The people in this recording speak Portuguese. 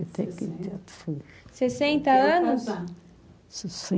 Sessenta anos.